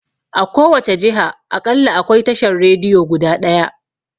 A kowace jiha aƙalla akwai tashan Rediyo guda ɗaya